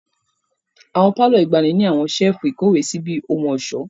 Awọn palọ igbani ni áwọn sefu-ikowesi bi ohun-ọṣọ.